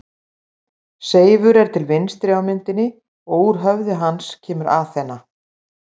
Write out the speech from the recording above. Seifur er til vinstri á myndinni og úr höfði hans kemur Aþena.